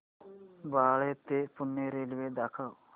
बाळे ते पुणे रेल्वे दाखव